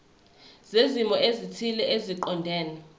zezimo ezithile eziqondene